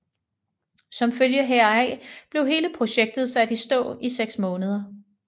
Som følge heraf blev hele projektet sat i stå i seks måneder